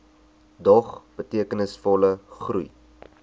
dog betekenisvolle groei